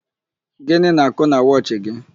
Gịnị n'àkụ́ na wọchị gị?